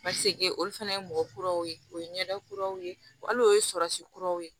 Paseke olu fana ye mɔgɔ kuraw ye o ye ɲɛda kuraw ye wa hali o ye surasi kuraw ye